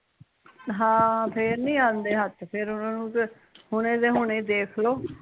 ਹਾਂ ਫੇਰ ਨੀ ਆਉਂਦੇ ਹੱਥ ਫਿਰ ਓਹਨਾਂ ਨੂ ਤੇ ਹੁਣੇ ਦੇ ਹੁਣੇ ਦੇਖਲੋ